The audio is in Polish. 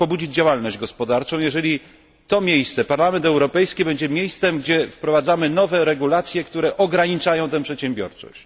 pobudzić działalność gospodarczą, jeżeli to miejsce Parlament Europejski będzie miejscem, gdzie wprowadzamy nowe przepisy, które ograniczają tę przedsiębiorczość?